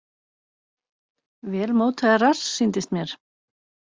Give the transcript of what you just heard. Vel mótaður rass sýndist mér.